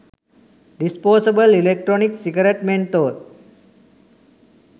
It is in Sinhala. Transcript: disposable electronic cigarette menthol